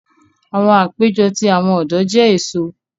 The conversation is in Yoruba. Awọn apejọ ti awọn ọdọ jẹ eso.